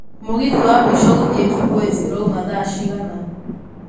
mũgithi wa mũico gũthiĩ kibwezi ũrauma thaa cigana